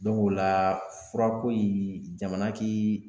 o la furako in jamana k'i